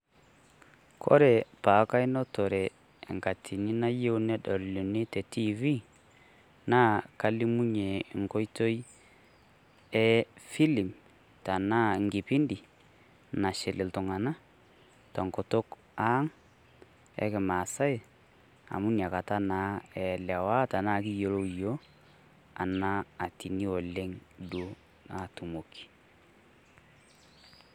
Kore peaku ainotore enkatini nayeu nedol nini te tv, naa kalimunye nkoitoi efilm tenaa nkipindi nashil iltung'ana te nkutuk ang' e kimaasai amu nakata naa elewa tenaa kiyiolo iyook ena atini oleng atumoki.